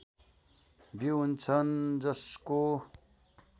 बीउ हुन्छन् जसको